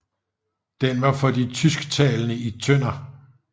Den var for de tysktalende i Tønder